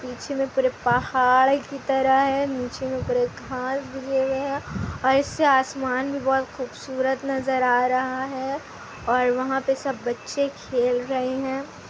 पीछे में पूरे पहाड़ की तरह है नीचे में पूरे घास दिये हुए हैं और इससे आसमान भी बहुत खूबसूरत नज़र आ रहा है और वहाँ पे सब बच्चे खेल रहे हैं।